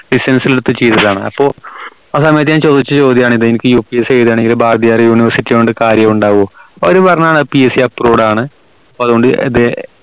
ൽ എടുത്ത് ചെയ്തതാണ് ആഹ് അപ്പൊ ആ സമയത് ഞാൻ ചോദിച്ച ചോദ്യണ് ഇത് ഇനിക് UPSC എഴുത്ണെങ്കിൽ ഭാരതീയർ university ഒണ്ട് കാര്യോ ഉണ്ടാവോ അപ്പോ അവര് പറഞ്ഞതാണ് PSCapproved ആണ് അപ്പൊ അതുകൊണ്ട്